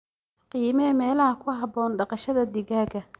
Qiimee meelaha ku haboon dhaqashada digaagga.